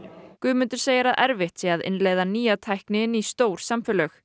Guðmundur segir að erfitt sé að innleiða nýja tækni inn í stór samfélög